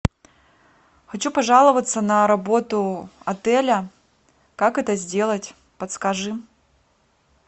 хочу пожаловаться на работу отеля как это сделать подскажи